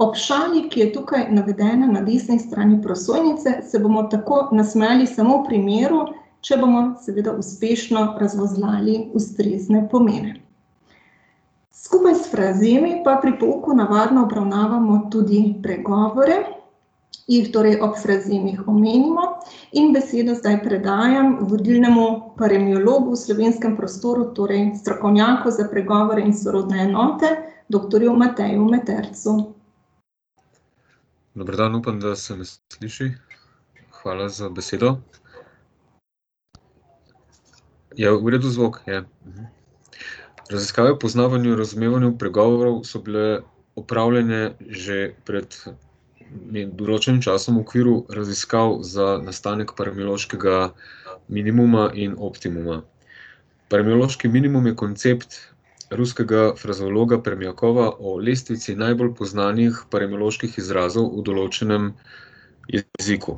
Ob šali, ki je tukaj navedena na desni strani prosojnice, se bomo tako nasmejali samo v primeru, če bomo seveda uspešno razvozlali ustrezne pomene. Skupaj s frazemi pa pri pouku navadno obravnavamo tudi pregovore, jih torej ob frazemih omenimo in besedo zdaj predajam vodilnemu paremiologu v slovenskem prostoru, torej strokovnjaku za pregovore in sorodne enote, doktorju Mateju Metercu. Dober dan, upam, da se me sliši. Hvala za besedo. Je v redu zvok? Je. Raziskave o poznavanju in razumevanju pregovorov so bile opravljene že pred določenim časom v okviru raziskav za nastanek paremiološkega minimuma in optimuma. Paremiološki minimum je koncept ruskega frazeologa Permjakova o lestvici najbolj poznanih paremioloških izrazov v določenem jeziku.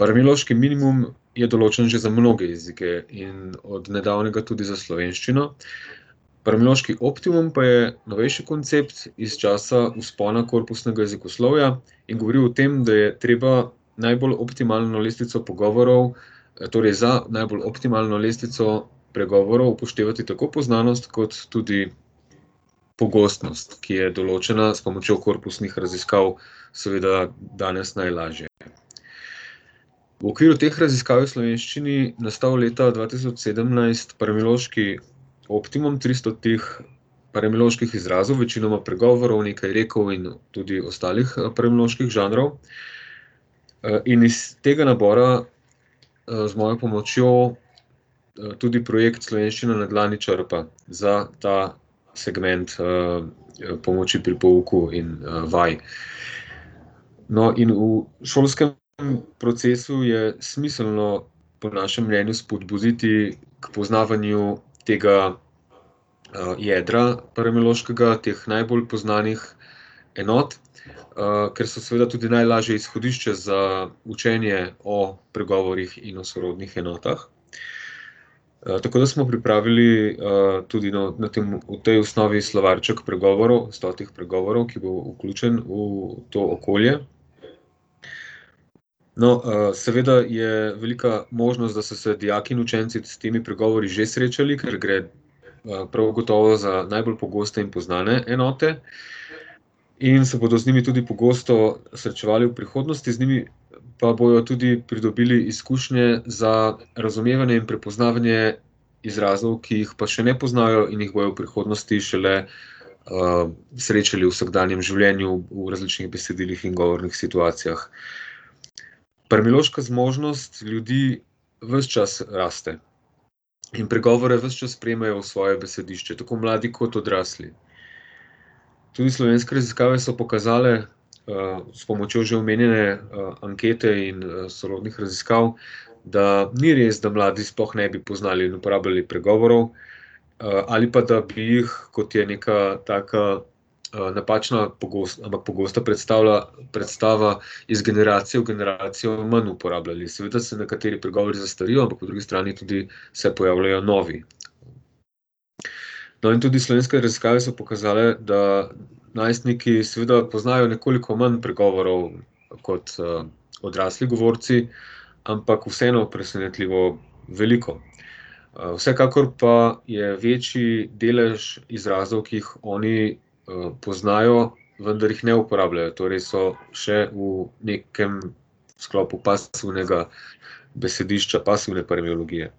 Paremiološki minimum je določen že za mnoge jezike in od nedavnega tudi za slovenščino. Paremiološki optimum pa je novejši koncept iz časa vzpona korpusnega jezikoslovja in govori o tem, da je treba najbolj optimalno lestvico pogovorov, torej za najbolj optimalno lestvico pregovorov upoštevati tako poznanost kot tudi pogostnost, ki je določena s pomočjo korpusnih raziskav, seveda danes najlažje. V okviru teh raziskav je v slovenščini nastal leta dva tisoč sedemnajst paremiološki optimum tristotih paremioloških izrazov, pregovor, nekaj rekov in tudi ostalih, paremioloških žanrov. in iz tega nabora, z mojo pomočjo, tudi projekt Slovenščina na dlani črpa za ta segment, pomoči pri pouku in, vaj. No, in v šolskem procesu je smiselno po našem mnenju spodbuditi k poznavanju tega, jedra paremiološkega, teh najbolj poznanih enot. ker so seveda tudi najlažje izhodišče za učenje o pregovorih in o sorodnih enotah. tako da smo pripravili, tudi na tem, v tej osnovi slovarček pregovorov, stotih pregovorov, ki bo vključen v to okolje. No, seveda je velika možnost, da so se dijaki in učenci s temi pregovori že srečali, ker gre, prav gotovo za najbolj pogoste in poznane enote. In se bodo z njimi tudi pogosto srečevali v prihodnosti, z njimi pa bojo tudi pridobili izkušnje za razumevanje in prepoznavanje izrazov, ki jih pa še ne poznajo in jih bodo v prihodnosti šele, srečali v vsakdanjem življenju v različnih besedilih in govornih situacijah. Paremiološka zmožnost ljudi ves čas raste. In pregovore ves čas sprejemajo v svoje besedišče, tako mladi kot odrasli. Tudi slovenske raziskave so pokazale, s pomočjo že omenjene, ankete in, sorodnih raziskav da ni res, da mladi sploh ne bi poznali in uporabljali pregovorov, ali pa da bi jih, kot je neka taka, napačna ampak pogosto predstavla, predstava iz generacije v generacijo manj uporabljali, seveda se nekateri pregovori zastarijo, ampak po drugi strani tudi se pojavljajo novi. No, in tudi slovenske raziskave so pokazale, da najstniki seveda poznajo nekoliko manj pregovorov kot, odrasli govorci, ampak vseeno presenetljivo veliko. vsekakor pa je večji delž izrazov, ki jih oni, poznajo, vendar jih ne uporabljajo, torej so še v nekem sklopu pasivnega besedišča, pasivne paremiologije.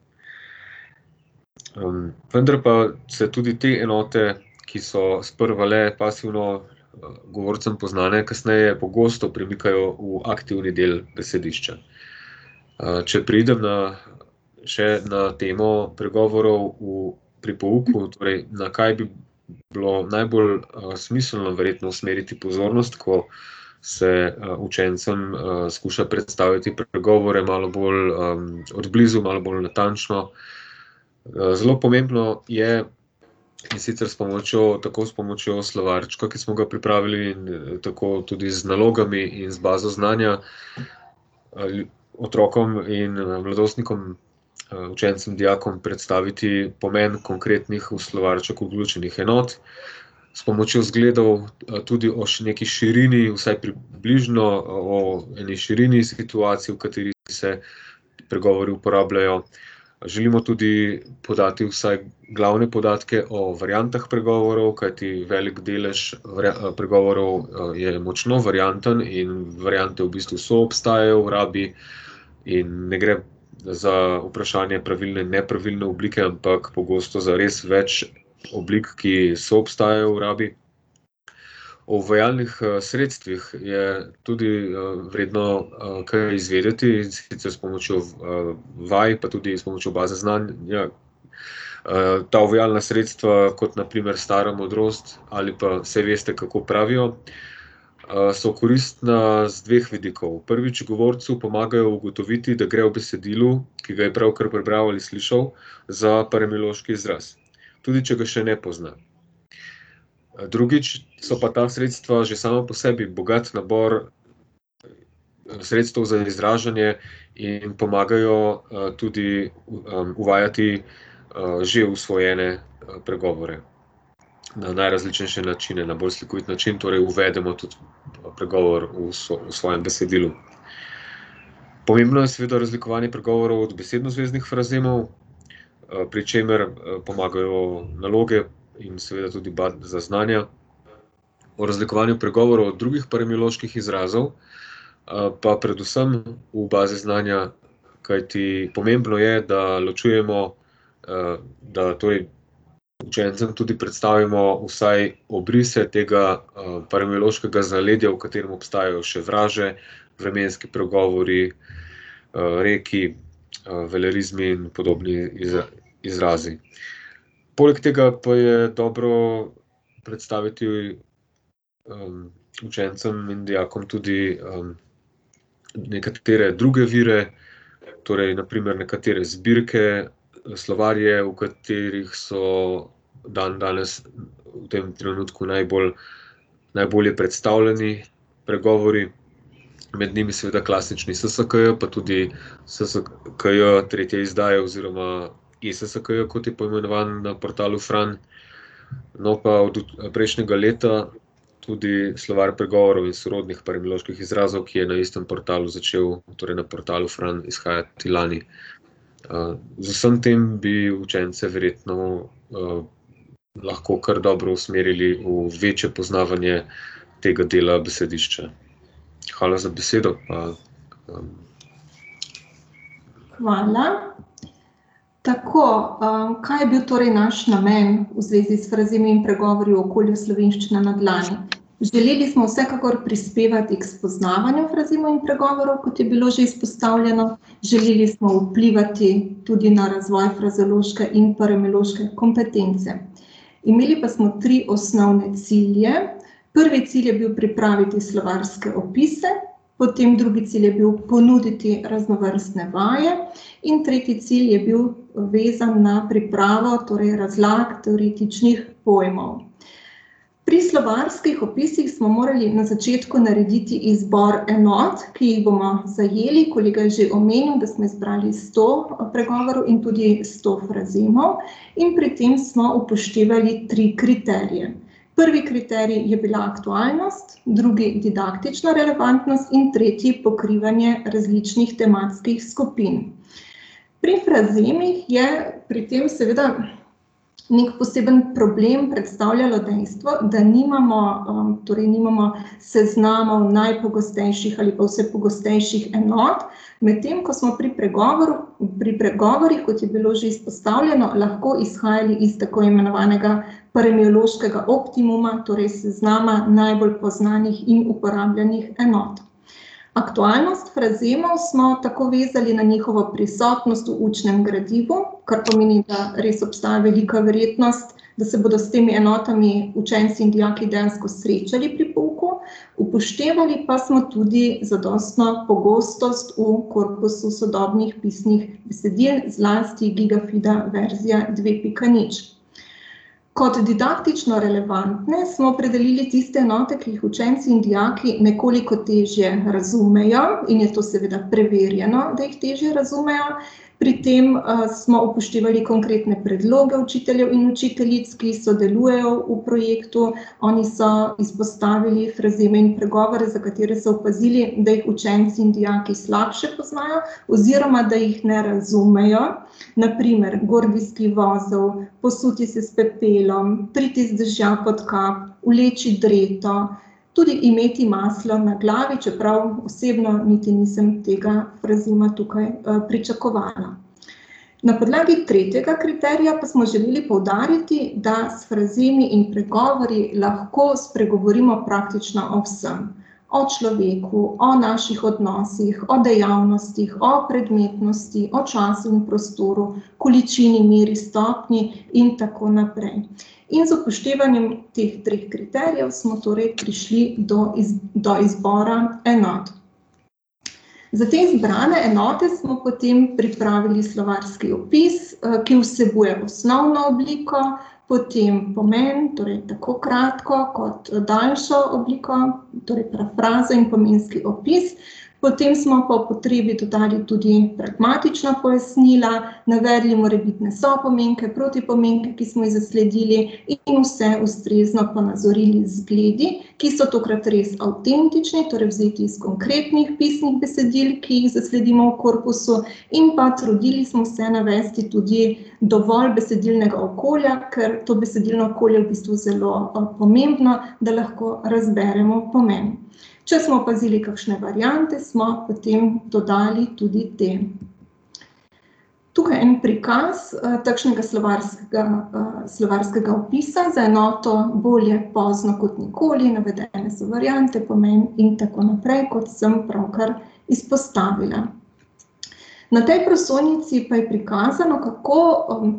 vendar pa se tudi te enote, ki so sprva le pasivno, govorcem poznane, kasneje pogosto primikajo v aktivni del besedišča. če preidem na še na temo pregovorov v, pri pouku od prej, na kaj bi bilo najbolj, smiselno verjetno usmeriti pozornost, ko se, učencem, skuša predstaviti pregovore, malo bolj, od blizu, malo bolj natančno. zelo pomembno je, in sicer s pomočjo, tako s pomočjo slovarčka, ki smo ga pripravili, in tako tudi z nalogami in z bazo znanja, otrokom in, mladostnikom, učencem, dijakom predstaviti pomeni konkretnih, v slovarček vključenih enot. S pomočjo zgledov, tudi o neki širini, vsaj približno o eni situaciji, v kateri se pregovori uporabljajo, želimo tudi podati vsaj glavne podatke o variantah pregovorov, kajti veliko delež pregovorov, je močno varianten in variante v bistvu soobstajajo v rabi. In ne gre za vprašanje pravilne in nepravilne oblike, ampak pogosto za res več oblik, ki soobstajajo v rabi. O uvajalnih, sredstvih je tudi, vredno kaj izvedeti, in sicer s pomočjo, vaj, pa tudi s pomočjo baze znanja. ta uvajalna sredstva, kot na primer stara modrost ali pa saj veste, kako pravijo, so koristna z dveh vidikov. Prvič govorcu pomagajo ugotoviti, da gre v besedilu, ki ga je pravkar prebral ali slišal, za paremiološki izraz, tudi če ga še ne pozna. drugič so pa ta sredstva že sama po sebi bogat nabor, sredstev za izražanje in pomagajo, tudi uvajati, že usvojene, pregovore na najrazličnejše načine, na bolj slikovit način torej uvedemo tudi, pregovor v svojem besedilu. Pomembno je seveda razlikovanje pregovorov od besednozveznih frazemov, pri čemer, pomagajo naloge in seveda tudi baza znanja. O razlikovanju pregovorov drugih paremioloških izrazov, pa predvsem v bazi znanja, kajti pomembno je, da ločujemo da učencem tudi predstavimo vsaj obrise tega, paremiološkega zaledja, v katerem obstajajo še vraže, vremenski pregovori, reki, velerizmi in podobni izrazi. Poleg tega pa je dobro predstaviti, učencem in dijakom tudi, nekatere druge vire, torej na primer nekatere zbirke, slovarje, v katerih so dandanes v tem trenutku najbolj, najbolje predstavljeni pregovori. Med njimi seveda klasični SSKJ, pa tudi SSKJ tretje izdaje oziroma eSSKJ, kot je poimenovan na portalu Fran. No, pa od prejšnjega leta tudi Slovar pregovorov in sorodnih paremioloških izrazov, ki je na istem portalu začel, torej na portalu Fran, izhajati lani. z vsem tem bi učence verjetno, lahko kar dobro usmerili v večje poznavanje tega dela besedišča. Hvala za besedo, Hvala, tako, kaj je bil torej naš namen v zvezi s frazemi in pregovori v okolju Slovenščina na dlani? Želeli smo vsekakor prispevati k spoznavanju frazemov in pregovorov, kot je bilo že izpostavljeno, želeli smo vplivati tudi na razvoj frazeološke in paremiološke kompetence. Imeli pa smo tri osnovne cilje: prvi cilj je bil pripraviti slovarske opise, potem drugi cilj je bil ponuditi raznovrstne vaje in tretji cilj je bil, vezan na pripravo torej razlag teoretičnih pojmov. Pri slovarskih opisih smo morali na začetku narediti izbor enot, ki jih bomo zajeli, kolega je že omenil, da smo izbrali sto pregovorov in tudi sto frazemov, in pri tem smo upoštevali tri kriterije: prvi kriterij je bila aktualnost, drugi didaktična relevantnost in tretji pokrivanje različnih tematskih skupin. Pri frazemih je pri tem seveda neki poseben problem predstavljalo dejstvo, da nimamo, torej nimamo seznamov najpogostejših ali pa vse pogostejših enot, medtem ko smo pri pregovoru, pri pregovorih, kot je bilo že izpostavljeno, lahko izhajali iz tako imenovanega paremiološkega optimuma, torej seznama najbolj poznanih in uporabljenih enot. Aktualnost frazemov smo tako vezali na njihovo prisotnost v učnem gradivu, kar pomeni, da res obstaja velika verjetnost, da se bodo s temi enotami učenci in dijaki dejansko srečali pri pouku, upoštevali pa smo tudi zadostno pogostost v korpusu sodobnih pisnih besedil, zlasti Gigafida verzija dve pika nič. Kot didaktično relevantne smo opredelili tiste enote, ki jih učenci in dijaki nekoliko težje razumejo, in je to seveda preverjeno, da jih težje razumejo, pri tem, smo upoštevali konkretne predloge učiteljev in učiteljic, ki sodelujejo v projektu, oni so izpostavili frazeme in pregovore, za katere so opazili, da jih učenci in dijaki slabše poznajo oziroma da jih ne razumejo, na primer gordijski vozel, posuti se s pepelom, priti z dežja pod kap, vleči dreto, tudi imeti maslo na glavi, čeprav osebno niti nisem tega frazema tukaj, pričakovala. Na podlagi tretjega kriterija pa smo želeli poudariti, da s frazemi in pregovori lahko spregovorimo praktično o vsem. O človeku, o naših odnosih, o dejavnostih, o predmetnosti, o času in prostoru, količini, meri, stopnji in tako naprej. In z upoštevanjem teh treh kriterijev smo torej prišli do do izbora enot. Za te zbrane enote smo potem pripravili slovarski opis, ki vsebuje osnovno obliko, potem pomen, torej tako kratko kot daljšo obliko, torej prazen pomenski opis, potem smo po potrebi dodali tudi pragmatična pojasnila, navedli morebitne sopomenke, protipomenke, ki smo jih zasledili, in vse ustrezno ponazorili z zgledi, ki so tokrat res avtentični, torej vzeti in konkretnih pisnih besedil, ki jih zasledimo v korpusu, in pa trudili smo se navesti tudi dovolj besedilnega okolja, ker to besedilno okolje v bistvu zelo, pomembno, da lahko razberemo pomeni. Če smo opazili kakšne variante, smo potem dodali tudi te. Tukaj en prikaz, takšnega slovarskega, slovarskega opisa za enoto bolje pozno kot nikoli, navedene so variante, pomeni in tako naprej, kot sem pravkar izpostavila. Na tej prosojnici pa je prikazano, kako,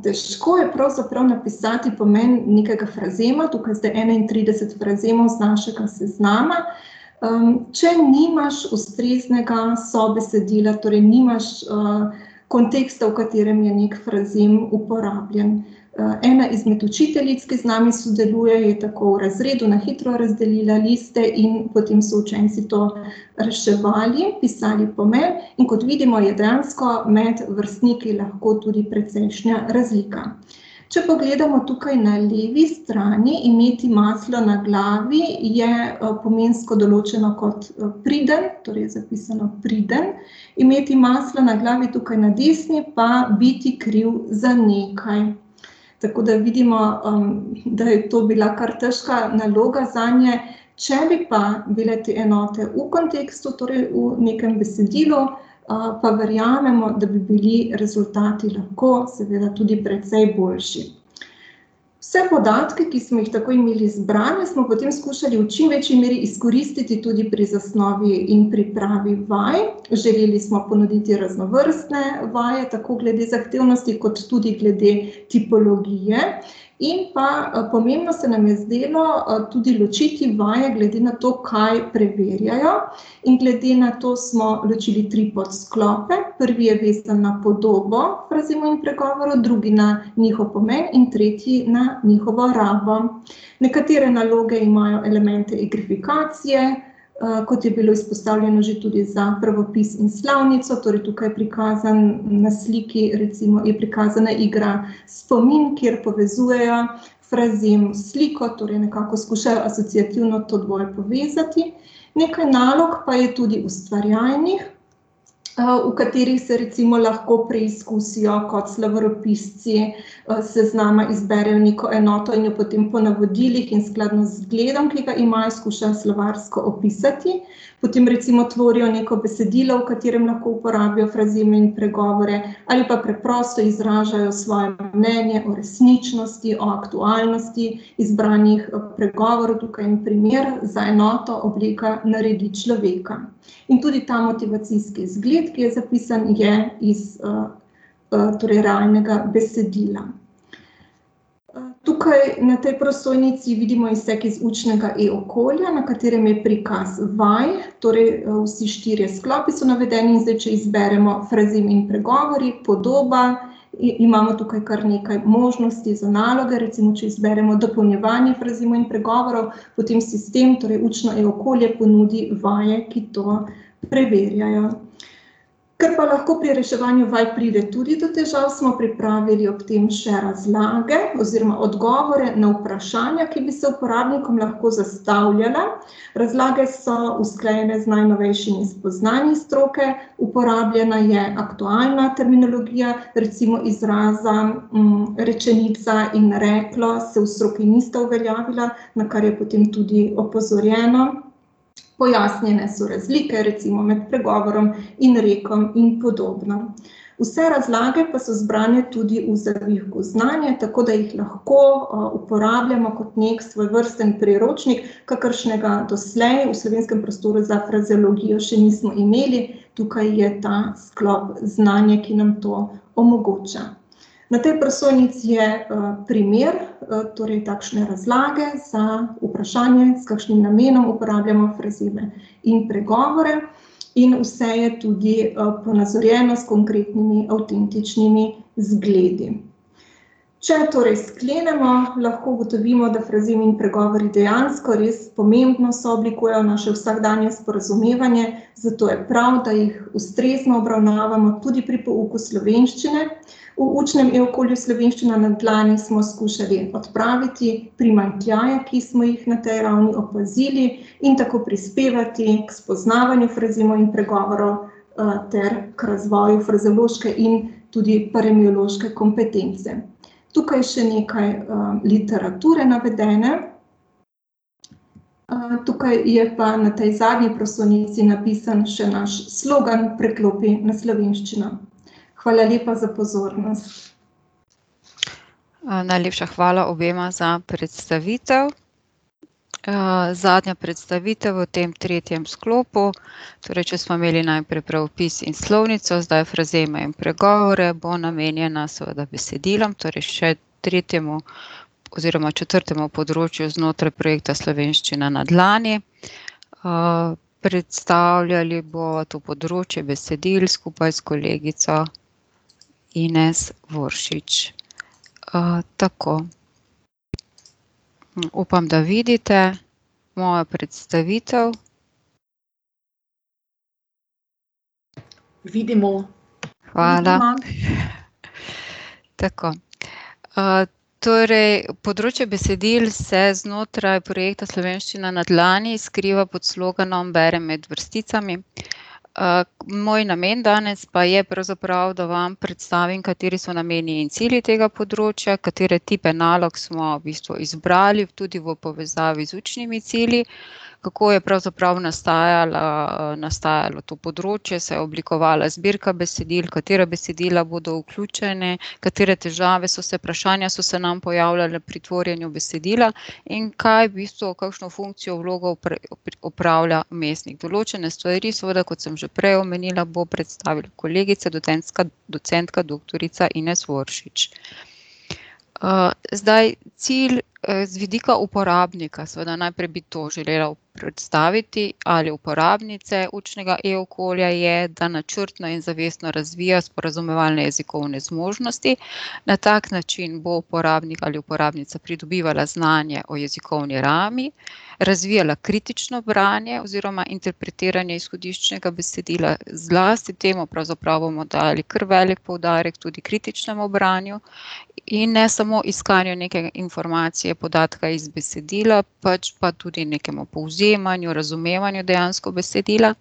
težko je pravzaprav napisati pomen nekega frazema, tukaj zdaj enaintrideset frazemov z našega seznama, če nimaš ustreznega sobesedila, torej nimaš, konteksta, v katerem je neki frazem uporabljen. ena izmed učiteljic, ki z nami sodeluje, je tako v razredu na hitro razdelila liste in potem so učenci to reševali, pisali pomen, in kot vidimo, je dejansko med vrstniki lahko tudi precejšnja razlika. Če pogledamo tukaj na levi strani, imeti maslo na glavi je, pomensko določeno kot, priden, torej zapisano priden, imeti maslo na glavi tukaj na desni pa biti kriv za nekaj. Tako da vidimo, da je to bila kar težka naloga zanje, če bi pa bile te enote v kontekstu, torej v nekem besedilu, pa verjamemo, da bi bili rezultati lahko seveda tudi precej boljši. Vse podatke, ki smo jih tako imeli zbrane, smo potem skušali v čim večji meri izkoristiti tudi pri zasnovi in pripravi vaj, želeli smo ponoviti raznovrstne vaje, tako glede zahtevnosti kot tudi glede tipologije, in pa, pomembno se nam je zdelo, tudi ločiti vaje glede na to, kaj preverjajo. In glede na to smo ločili tri podsklope: prvi je vezan na podobo frazemov in pregovorov, drugi na njihov pomen in tretji na njihovo rabo. Nekatere naloge imajo elemente igrifikacije, kot je bilo izpostavljeno že tudi za pravopis in slovnico, torej tukaj prikazan na sliki recimo, je prikazana igra spomin, kjer povezujejo frazem s sliko, torej nekako skušajo asociativno to dvoje povezati. Nekaj nalog pa je tudi ustvarjalnih, v katerih se recimo lahko preizkusijo kot slovaropisci, s seznama izberejo neko enoto in jo potem po navodilih in v skladu z zgledom, ki ga imajo, skušajo slovarsko opisati. Potem recimo tvorijo neko besedilo, v katerem lahko uporabijo frazeme in pregovore ali pa preprosto izražajo svoje mnenje o resničnosti, o aktualnosti izbranih, pregovorov, tukaj en primer za enoto obleka naredi človeka. In tudi ta motivacijski zgled, ki je zapisan, je iz, torej realnega besedila. tukaj na tej prosojnici vidimo izsek iz učnega e-okolja, na katerem je prikaz vaj, torej, vsi štirje izklopi so navedeni, in zdaj če izberemo frazem in pregovori, podoba, imamo tukaj kar nekaj možnosti za naloge, recimo če izberemo dopolnjevanje frazemov in pregovorov, potem sistem, torej učno e-okolje, ponudi vaje, ki to preverjajo. Ker pa lahko pri reševanju vaj pride tudi do težav, smo pripravili ob tem še razlage oziroma odgovore na vprašanja, ki bi se uporabnikom lahko zastavljala. Razlage so usklajene z najnovejšimi spoznanji stroke, uporabljena je aktualna terminologija, recimo izraza, rečenica in reklo se v stroki nista uveljavila, na kar je potem tudi opozorjeno. Pojasnjene so razlike, recimo med pregovorom in rekom in podobno. Vse razlage pa so zbrane tudi v znanja, tako da jih lahko, uporabljamo kot neki svojevrsten priročnik, kakršnega doslej v slovenskem prostoru za frazeologijo še nismo imeli. Tukaj je ta sklop znanje, ki nam to omogoča. Na tej prosojnici je, primer, torej takšne razlage za vprašanje, s kakšnim namenom uporabljamo frazeme in pregovore. In vse je tudi, ponazorjeno s konkretnimi avtentičnimi zgledi. Če torej sklenemo, lahko ugotovimo, da frazemi in pregovori dejansko res pomembno sooblikujejo naše vsakdanje sporazumevanje, zato je prav, da jih ustrezno obravnavamo tudi pri pouku slovenščine. V učnem e-okolju Slovenščina na dlani smo skušali odpraviti primanjkljaje, ki smo jih na tej ravni opazili, in tako prispevati k spoznavanju frazemov in pregovorov, ter k razvoju frazeološke in tudi paremiološke kompetence. Tukaj še nekaj, literature navedene. tukaj je pa na tej zadnji prosojnici napisan še naš slogan: "Preklopi na slovenščino." Hvala lepa za pozornost. najlepša hvala obema za predstavitev. zadnja predstavitev v tem tretjem sklopu. Torej če smo imeli najprej pravopis in slovnico, zdaj frazeme in pregovore, bo namenjena seveda besedilom, torej še tretjemu oziroma četrtemu področju znotraj projekta Slovenščina na dlani. predstavljali bova to področje besedil skupaj s kolegico Ines Voršič. tako. upam, da vidite mojo predstavitev. Hvala. Tako. torej področje besedil se znotraj projekta Slovenščina na dlani skriva pod sloganom Berem med vrsticami. moj namen danes pa je pravzaprav, da vam predstavim, kateri so nameni in cilji tega področja, katere tipe nalog smo v bistvu izbrali, tudi v povezavi z učnimi cilji, kako je pravzaprav nastajala, nastajalo to področje, se je oblikovala zbirka besedil, katera besedila bodo vključene, katere težave so se, vprašanja so se nam pojavljala pri tvorjenju besedila in kaj v bistvu, kakšno funkcijo, vlogo opravlja . Določene stvari, kot sem že prej omenila, bo predstavila kolegica, docencka, docentka doktorica Ines Voršič. zdaj cilj z vidika uporabnika, seveda najprej bi to želela predstaviti, ali uporabnice e-okolja je, da načrtno in zavestno razvija sporazumevalne jezikovne zmožnosti. Na tak način bo uporabnik ali uporabnica pridobivala znanja o jezikovni rabi, razvijala kritično branje oziroma interpretiranje izhodiščnega besedila, zlasti temu pravzaprav bomo dali kar velik poudarek, tudi kritičnemu branju in ne samo iskanju neke informacije podatka iz besedila, pač pa tudi nekemu povzemanju, razumevanju dejansko besedila.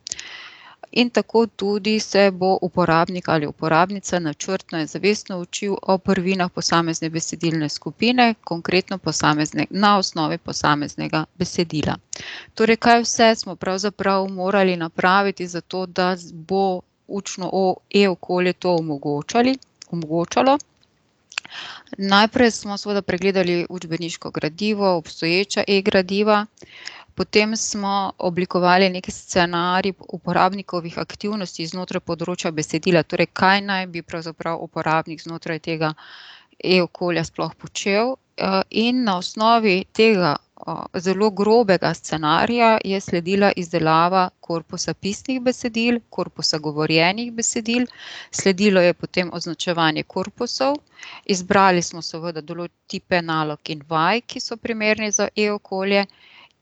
In tako tudi se bo uporabnik ali uporabnica načrtno in zavestno učil o prvinah posamezne besedilne skupine, konkretno posamezne, na osnovi posameznega besedila. Torej kaj vse smo pravzaprav morali napraviti za to, da bo učno e-okolje to omogočali, omogočalo, najprej smo seveda pregledali učbeniško gradivo, obstoječa e-gradiva. Potem smo oblikovali neki scenarij uporabnikovih aktivnosti znotraj področja besedila, torej kaj naj bi pravzaprav uporabnik znotraj tega e-okolja sploh počel, in na osnovi tega zelo grobega scenarija je sledila izdelava korpusa pisnih besedil, korpusa govorjenih besedil, sledilo je potem označevanje korpusov, izbrali smo seveda tipe nalog in vaj, ki so primerne za e-okolje,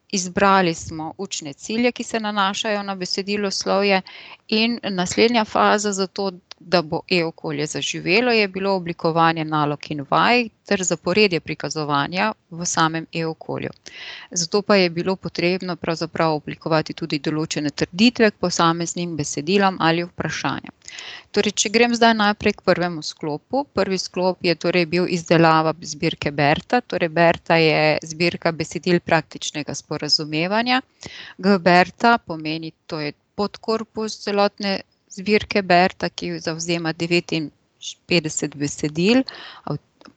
izbrali smo učne cilje, ki se nanašajo na besediloslovje, in naslednja faza za to, da bo e-okolje zaživelo, je bilo oblikovanje nalog in vaj ter zaporedje prikazovanja v samem e-okolju. Zato pa je bilo potrebno pravzaprav oblikovati tudi določene trditve k posameznim besedilom ali vprašanjem. Torej če grem zdaj najprej k prvemu sklopu, prvi sklop je torej bil izdelava zbirke Berta, torej Berta je zbirka besedil praktičnega sporazumevanja, G-Berta pomeni, to je podkorpus celotne zbirke Berta, ki zavzema devetinpetdeset besedil,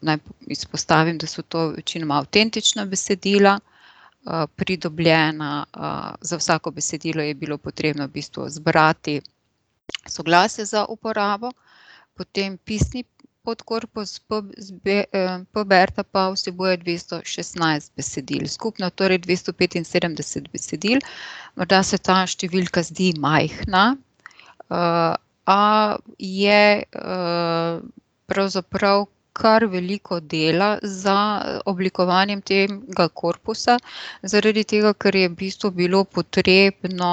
naj izpostavim, do so to večinoma avtentična besedila, pridobljena, za vsako besedilo je bilo potrebno v bistvu zbrati soglasje za uporabo. Potem pisni podkorpus P-Berta pa vsebuje dvesto šestnajst besedil, skupno torej dvesto petinsedemdeset besedil. Morda se ta številka zdi majhna, a je, pravzaprav kar veliko dela za oblikovanje tega korpusa zaradi tega, ker je v bistvu bilo potrebno,